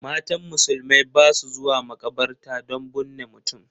Matan musulmai ba su zuwa makabarta don bunne mutum